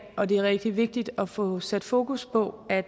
og det er rigtig vigtigt at få sat fokus på at